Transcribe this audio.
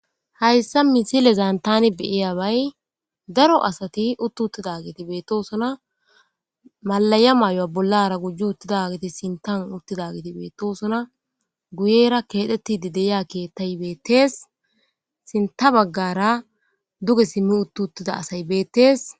Hayisa misileza tani be'abay daro asati uti utizaysati betosona mala'hey bollara wothi utida geti betosona guyera kethetidi kethay betes sinitha bagara duge simimi utiza asayi betes